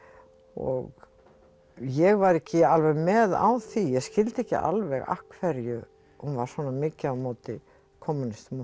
og ég var ekki alveg með á því ég skildi ekki alveg af hverju hún var svona mikið á móti kommúnistum og